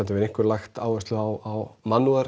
hefur einkum lagt áherslu á